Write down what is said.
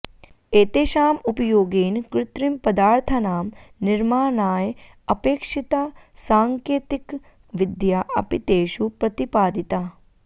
एतेषाम् उपयोगेन कृत्रिमपदार्थानां निर्माणाय अपेक्षिता साङकेतिकविद्या अपि तेषु प्रतिपादिता